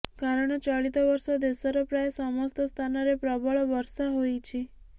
କାରଣ ଚଳିତ ବର୍ଷ ଦେଶର ପ୍ରାୟ ସମସ୍ତ ସ୍ଥାନରେ ପ୍ରବଳ ବର୍ଷା ହୋଇଛି